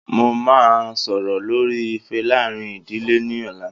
Mo máa sọ̀rọ̀ lórí ìfẹ́ láàárín ìdílé ní ọ̀la